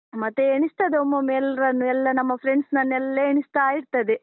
ಮತ್ತೆ ಎಣಿಸ್ತದೆ ಒಮ್ಮೊಮ್ಮೆ ಎಲ್ರನ್ನೂ, ಎಲ್ಲ ನಮ್ಮ friends ನನ್ನು ಎಲ್ಲ ಎಣಿಸ್ತಾ ಇರ್ತದೆ.